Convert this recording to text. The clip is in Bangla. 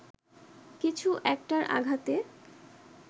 কিছু একটার আঘাতে